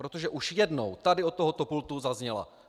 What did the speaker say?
Protože už jednou tady od tohoto pultu zazněla.